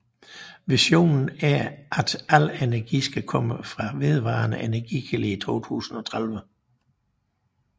Visionen er at al energi skal komme fra vedvarende energikilder i 2030